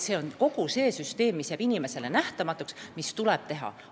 See on kogu see süsteem, mis jääb inimesele nähtamatuks, aga mis tuleb ära teha.